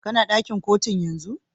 Kana dakin Kotun yanzun?